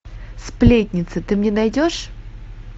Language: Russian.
сплетница ты мне найдешь